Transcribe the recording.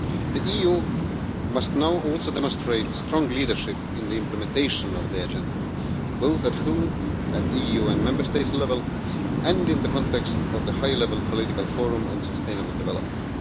The EU must now also demonstrate strong leadership in the implementation of the Agenda, both at home, at the EU Member State level, and in the context of the high level political forum on sustainable development.